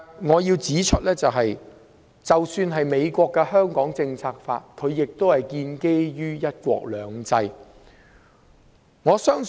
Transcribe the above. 我要指出，美國的《香港政策法》也是建基於"一國兩制"。